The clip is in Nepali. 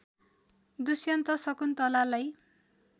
दुश्यन्त शकुन्तलालाई